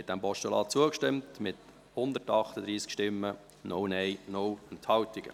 Sie haben dem Postulat zugestimmt, mit 138 Stimmen, 0 Nein-Stimmen und 0 Enthaltungen.